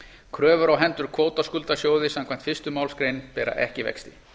kröfur á hendur kvótaskuldasjóði samkvæmt fyrstu málsgrein bera ekki vexti